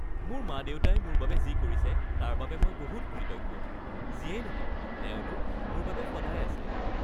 মোৰ মা-দেউতাই মোৰ বাবে যি কৰিছে তাৰ বাবে মই বহুত কৃতজ্ঞ। যিয়েই নহওক, তেওঁলোক মোৰ বাবে সদায় আছে।